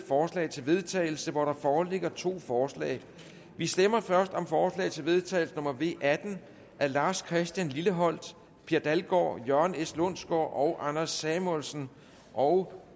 forslag til vedtagelse og der foreligger to forslag vi stemmer først om forslag til vedtagelse nummer v atten af lars christian lilleholt per dalgaard jørgen s lundsgaard og anders samuelsen og